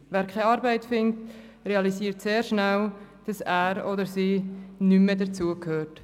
Wer keine Arbeit findet, realisiert sehr schnell, dass er oder sie nicht mehr dazu gehört.